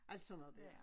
Alt sådan noget dér